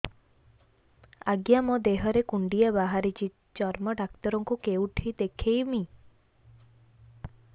ଆଜ୍ଞା ମୋ ଦେହ ରେ କୁଣ୍ଡିଆ ବାହାରିଛି ଚର୍ମ ଡାକ୍ତର ଙ୍କୁ କେଉଁଠି ଦେଖେଇମି